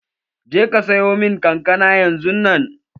Je ka sayo mun kankana yanzun nan!